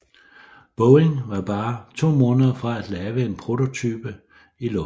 Boeing var bare to måneder fra at have en prototype i luften